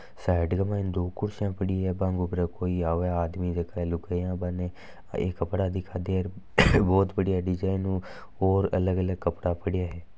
साइड के मायने दो कुर्सियां बा के ऊपर कोई आव आदमी लुगाई बा ने कपडा दिखा दे है बहुत बढ़िया डिज़ाइन हु और अलग अलग कपडा पड़ा है।